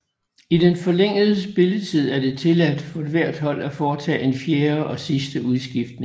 I den forlængede spilletid er det tilladt for hvert hold at foretage en fjerde og sidste udskiftning